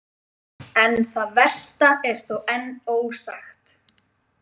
En það versta er þó enn ósagt.